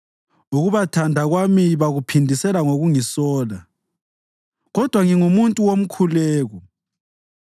Ukubathanda kwami bakuphindisela ngokungisola, kodwa ngingumuntu womkhuleko.